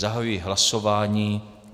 Zahajuji hlasování.